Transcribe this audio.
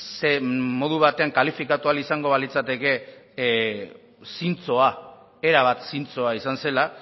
ze modu batean kalifikatua ahal izango balitzateke zintzoa erabat zintzoa izan zela